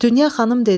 Dünya xanım dedi: